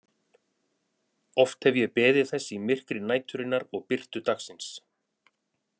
Oft hef ég beðið þess í myrkri næturinnar og birtu dagsins.